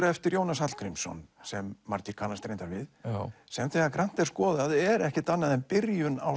eftir Jónas Hallgrímsson sem margir kannast reyndar við sem þegar grannt er skoðað er ekkert annað en byrjun á